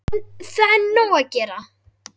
Það er nóg að gera!